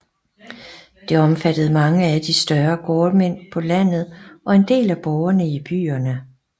Det omfattede mange af de større gårdmænd på landet og en del af borgerne i byerne